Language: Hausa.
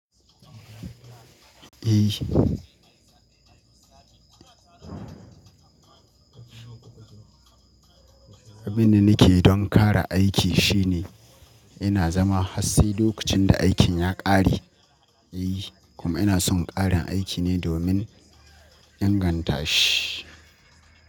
Eh. Abin da nake yi don ƙara aiki shine ina zama hatsi lokacin da aikin ya ƙare. E, kuma ina son ƙarin aiki ne domin ingantashi.